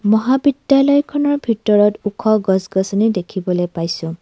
মহাবিদ্যালয়খনৰ ভিতৰত ওখ গছ গছনি দেখিবলৈ পাইছোঁ।